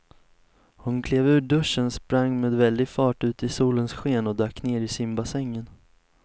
Hon klev ur duschen, sprang med väldig fart ut i solens sken och dök ner i simbassängen.